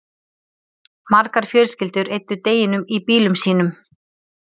margar fjölskyldur eyddu deginum í bílum sínum